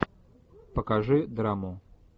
покажи драму